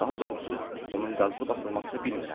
Daha doğrusu, onun qazılıb açılmasını bilmirəm.